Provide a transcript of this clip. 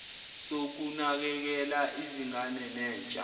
sokunakekela izingane nentsha